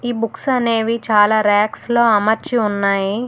Books అనేవి చాలా racks లో అమర్చి ఉన్నాయి.